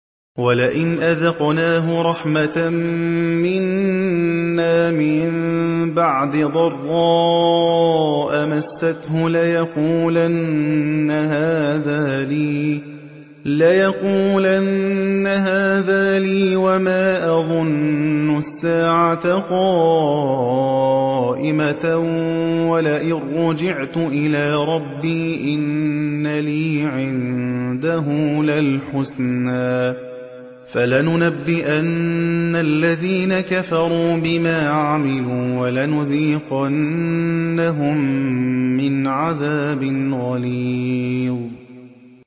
وَلَئِنْ أَذَقْنَاهُ رَحْمَةً مِّنَّا مِن بَعْدِ ضَرَّاءَ مَسَّتْهُ لَيَقُولَنَّ هَٰذَا لِي وَمَا أَظُنُّ السَّاعَةَ قَائِمَةً وَلَئِن رُّجِعْتُ إِلَىٰ رَبِّي إِنَّ لِي عِندَهُ لَلْحُسْنَىٰ ۚ فَلَنُنَبِّئَنَّ الَّذِينَ كَفَرُوا بِمَا عَمِلُوا وَلَنُذِيقَنَّهُم مِّنْ عَذَابٍ غَلِيظٍ